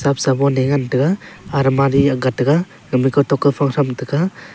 khama sobon e ngan taiga almari akga taiga khama kawtok kawphang thram taiga.